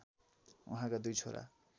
उहाँका दुई छोरा